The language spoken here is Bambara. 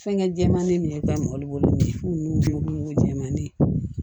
Fɛnkɛ jɛman ni nin ka mɔli bolo nin jɛman de ye